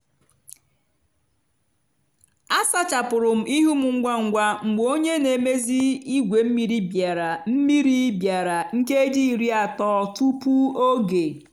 a sachapụrụ m ihu m ngwa ngwa mgbe onye na-emezi igwe mmiri bịara mmiri bịara nkeji iri atọ tupu oge